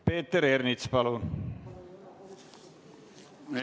Peeter Ernits, palun!